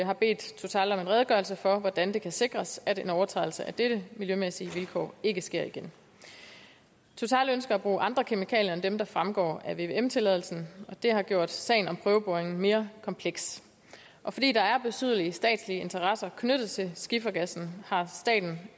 har bedt total om en redegørelse for hvordan det kan sikres at en overtrædelse af dette miljømæssige vilkår ikke sker igen total ønsker at bruge andre kemikalier end dem der fremgår af vvm tilladelsen og det har gjort sagen om prøveboringen mere kompleks fordi der er betydelige statslige interesser knyttet til skifergassen har staten